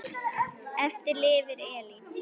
Eftir lifir Elín.